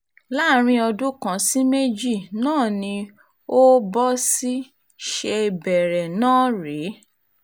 láàrin ọdún kan sí méjì náà ni o bó sì ṣe bẹ̀rẹ̀ náà rèé